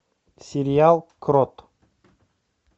сериал крот